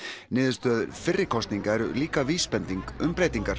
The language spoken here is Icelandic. niðurstöður fyrri kosninga eru líka vísbending um breytingar